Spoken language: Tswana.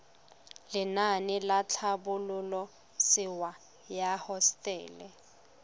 lenaane la tlhabololosewa ya hosetele